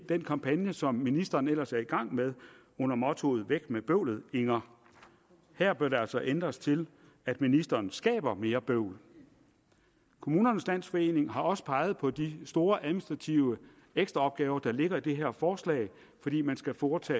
den kampagne som ministeren ellers er i gang med under mottoet væk med bøvlet inger her bør det altså ændres til at ministeren skaber mere bøvl kommunernes landsforening har også peget på de store administrative ekstraopgaver der ligger i det her forslag fordi man skal foretage